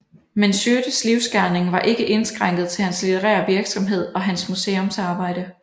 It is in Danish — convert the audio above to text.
Men Schiødtes livsgerning var ikke indskrænket til hans litterære virksomhed og hans museumsarbejde